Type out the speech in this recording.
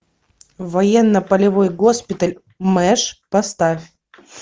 военно полевой госпиталь мэш поставь